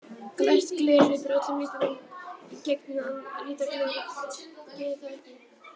Glært gler hleypir öllum litunum í gegn, meðan litað gler gerir það ekki.